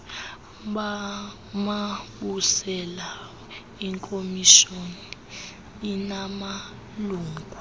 mabusela ikomishoni inamalungu